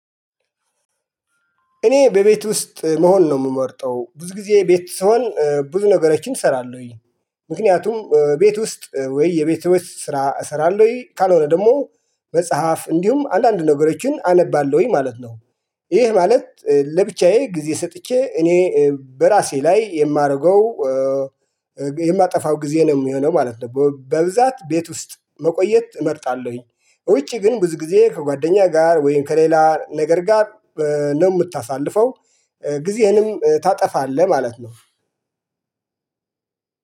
እኔ በቤት ውስጥ መሆን ነው የምመርጠው ብዙ ጊዜ ቤት ስሆን ብዙ ነገሮችን እሰራለሁኝ ምክንያቱም ቤት ውስጥ ወይ የቤት ውስጥ ስራ እሰራለሁኝ ካልሆነ ደግሞ መጽሐፍ እንዲሁም አንዳንድ ነገሮችን አነባለሁኝ ማለት ነው። ይህ ማለት ለብቻዬ ጊዜ ሰጥቼ እኔ በራሴ ላይ የማደርገው የማጠፋው ጊዜ ነው የሚሆነው ማለት ነው። በብዛት ቤት ውስጥ መቆየት እመርጣለሁኝ ውጪ ግን ብዙ ጊዜ ከጓደኛ ጋር ወይም ከሌላ ነገር ጋር ነው የምታሳልፈው ጊዜህንም ታጠፋለህ ማለት ነው።